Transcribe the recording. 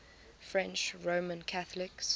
french roman catholics